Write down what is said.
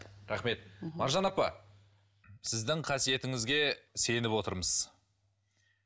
рахмет маржан апа сіздің қасиетіңізге сеніп отырмыз